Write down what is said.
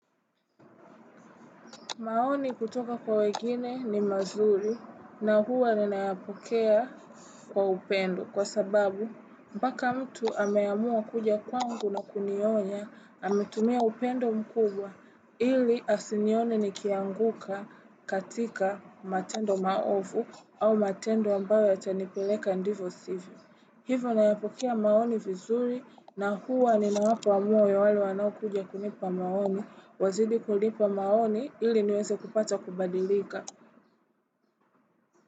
Maoni kutoka kwa wengine ni mazuri na huwa ninayapokea kwa upendo kwa sababu mpaka mtu ameamua kuja kwangu na kunionya ametumia upendo mkubwa ili asinioni nikianguka katika matendo maovu au matendo ambayo yatanipeleka ndivo sivyo. Hivo nayapokia maoni vizuri na huwa ninawapa moyo wale wanaokuja kunipa maoni, wazidi kunipa maoni ili niweze kupata kubadilika.